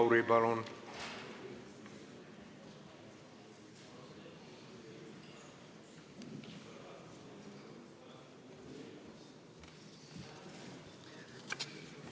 Maris Lauri, palun!